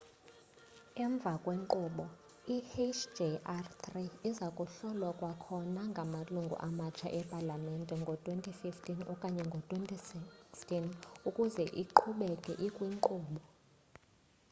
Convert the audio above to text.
emva kwenkqubo i hjr-3 iza kuhlolwa kwakhona ngamalungu amatsha epalamente ngo-2015 okanye ngo-2016 ukuzeiqhubeke ikwinkqubo